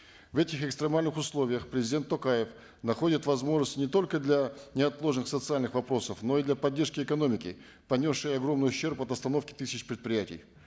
в этих экстремальных условиях президент токаев находит возможности не только для неотложных социальных вопросов но и для поддержки экономики понесшей огромный ущерб от остановки тысяч предприятий